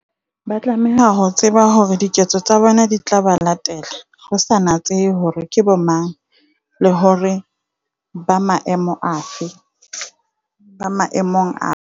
Ba tlameha ho tseba hore diketso tsa bona di tla ba latella, ho sa natsehe hore ke bomang, le hore ba maemong a fe, ba maemong a